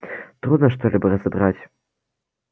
трудно что-либо разобрать